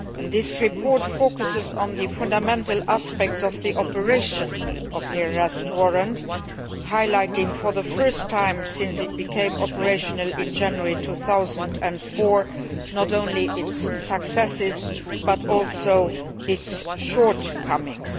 This report focuses on the fundamental aspects of the operation of the Arrest Warrant, highlighting for the first time since it became operational in January 2004 not only its successes but also its shortcomings.